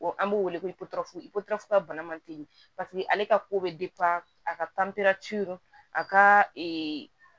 An b'o wele ko ka bana manteli paseke ale ka ko bɛ a ka a ka ee